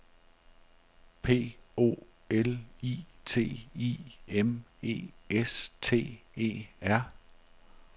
P O L I T I M E S T E R